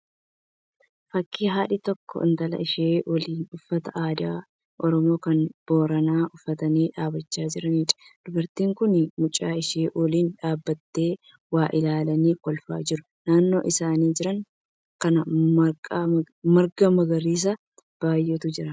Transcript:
Fakkii haadhi tokko intala ishee waliin uffata aadaa Oromoo kan Booranaa uffatanii dhaabbachaa jiraniidha. Dubartiin kun mucaa ishee waliin dhaabbattee waa ilaalanii kolfaa jiru. Naannoo isaan jiran kana marga magariisa baay'eetu jira.